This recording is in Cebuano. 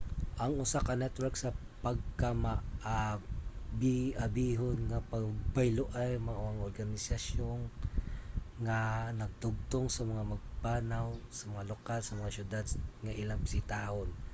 ang usa ka network sa pagkamaabiabihon nga pagbayloay mao ang organisasyon nga nagdugtong sa mga magpapanaw sa mga lokal sa mga siyudad nga ilang bisitahon